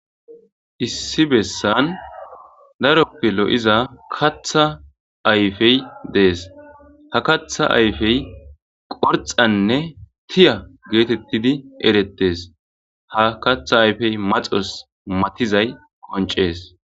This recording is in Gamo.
issi bessan daroppe lo'iza katha ayfey dees ha katha ayfey qorxanne tiya geetettidi erettes ha katha ayfey maxos matizay qoncees